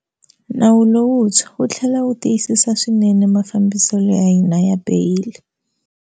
Nawu lowuntshwa wu tlhela wu tiyisa swinene mafambiselo ya hina ya beyili.